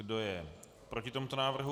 Kdo je proti tomuto návrhu?